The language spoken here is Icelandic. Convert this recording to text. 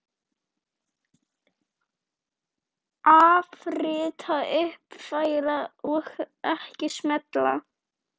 Afrita, uppfæra og ekki smella